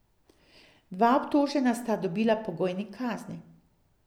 Dva obtožena sta dobila pogojni kazni.